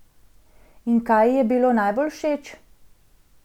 In kaj ji je bilo najbolj všeč?